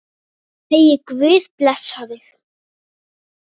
Megi Guð blessa þig.